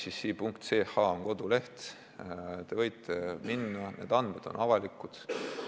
ch on selle koduleht, te võite sinna minna, need andmed on avalikud.